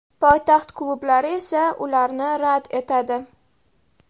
Poytaxt klublari esa ularni rad etadi.